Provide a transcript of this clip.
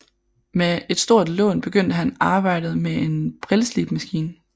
Med et stort lån begyndte han arbejdet med en brilleslibemaskine